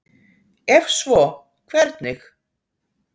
Ef svo, hvernig?